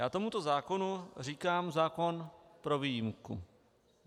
Já tomuto zákonu říkám zákon pro výjimku.